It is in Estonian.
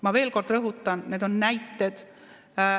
Ma veel kord rõhutan, et need on näited.